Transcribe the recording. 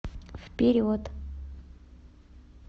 вперед